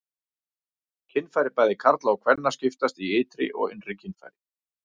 Kynfæri bæði karla og kvenna skiptast í ytri og innri kynfæri.